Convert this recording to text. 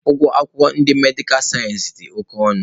Ụgwọ akwụkwọ ndị medikal sayensị dị oke ọnụ